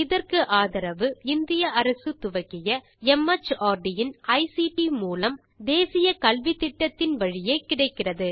இதற்கு ஆதரவு இந்திய அரசு துவக்கிய மார்ட் இன் ஐசிடி மூலம் தேசிய கல்வித்திட்டத்தின் வழியே கிடைக்கிறது